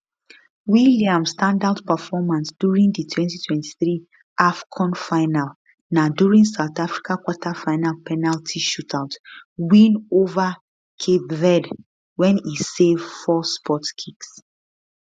williams standout performance during di 2023 afcon final na during south africa quarterfinal penalty shootout win ova cape verde wen e save four spot kicks